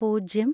പൂജ്യം